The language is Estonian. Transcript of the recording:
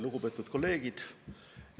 Lugupeetud kolleegid!